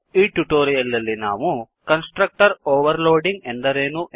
ಈ ಟ್ಯುಟೋರಿಯಲ್ ನಲ್ಲಿ ನಾವು ಕನ್ಸ್ ಟ್ರಕ್ಟರ್ ಓವರ್ ಲೋಡಿಂಗ್ ಎಂದರೇನು